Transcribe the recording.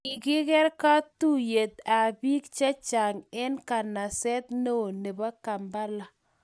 kikiker kotuiyet ab bik che chang eng kanaset neo nebo Kampala